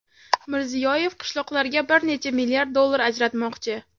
Mirziyoyev qishloqlarga bir necha milliard dollar ajratmoqchi.